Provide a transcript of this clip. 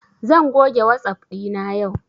Zan goge wasap ɗina yau